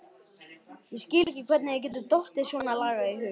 Ég skil ekki hvernig þér getur dottið svonalagað í hug!